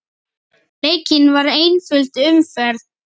Leikin var einföld umferð.